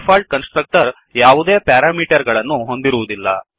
default constructor ಯಾವುದೇ parameter ಗಳನ್ನು ಹೊಂದಿರುವುದಿಲ್ಲ